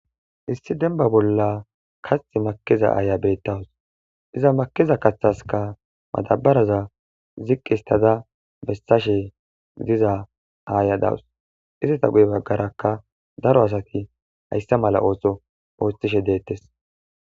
Issi dembba bolla kaththi makiza aayiya beetawus iza makida kaththaskka madabaraza ziqistada histashe diza aaya dawus. Izippe guye bagarakka daro asati hayssa mala ooso ootishe de7eetes.